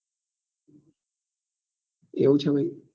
એવું છે ભાઈ